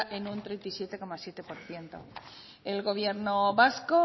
en un treinta y siete coma siete por ciento el gobierno vasco